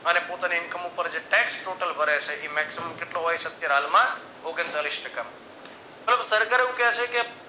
અને પોતાની income પર જે taxtotal ભરે છે એ maximum કેટલો હોય છે અત્યારે હાલ માં ઓગણચાલીશ ટકા પરંતુ સરકાર એવું કહે છે કે